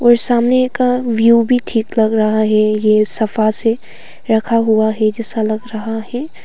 और सामने का व्यू भी ठीक लग रहा है ये सफा से रखा हुआ है जैसा लग रहा है।